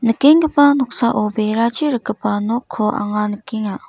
nikenggipa noksao berachi rikgipa nokko anga nikenga.